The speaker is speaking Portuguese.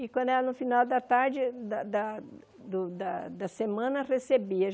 E quando era no final da tarde da da do da da semana, recebia.